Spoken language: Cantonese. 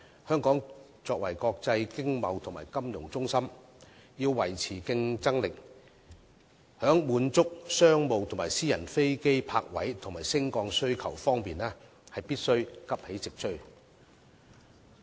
香港作為國際經貿及金融中心，要維持競爭力，在滿足商務和私人飛機泊位及升降需求方面，必須急起直追。